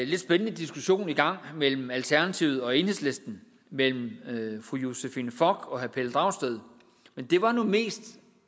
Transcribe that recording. lidt spændende diskussion i gang mellem alternativet og enhedslisten mellem fru josephine fock og herre pelle dragsted men det var nu mest